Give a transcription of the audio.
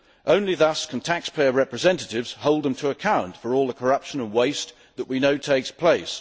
Only thus can taxpayer representatives hold them to account for all the corruption and waste that we know takes place.